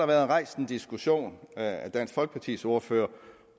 været rejst en diskussion af dansk folkepartis ordfører